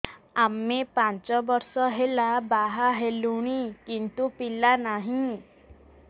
ଆମେ ପାଞ୍ଚ ବର୍ଷ ହେଲା ବାହା ହେଲୁଣି କିନ୍ତୁ ପିଲା ନାହିଁ